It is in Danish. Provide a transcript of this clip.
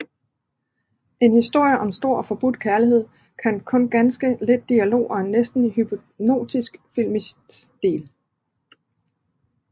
En historie om stor og forbudt kærlighed med kun ganske lidt dialog og en næsten hypnotisk filmisk stil